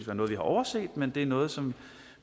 noget vi har overset men det er noget som